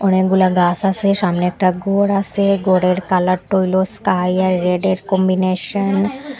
অনেকগুলা গাছ আসে সামনে একটা গর আসে গরের কালার টা হইলো স্কাই আর রেডে র কম্বিনেশন ।